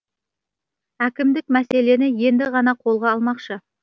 әкімдік мәселені енді ғана қолға алмақшы